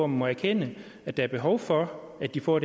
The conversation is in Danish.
må erkende at der er behov for at de får